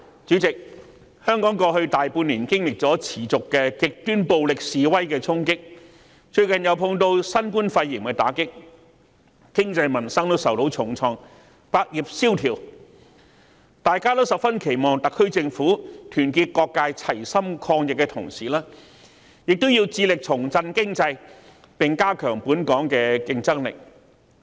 主席，香港在過去大半年持續經歷了極端暴力示威的衝擊，最近又面對新冠肺炎的打擊，經濟和民生均受重創，以致百業蕭條，大家都十分期望特區政府團結各界齊心抗疫，同時致力重振經濟，提高本港的競爭力。